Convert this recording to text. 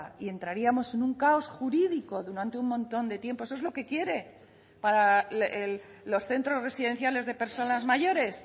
y entraríamos en un caos jurídico durante un montón de tiempo eso es lo que quiere para los centros residenciales de personas mayores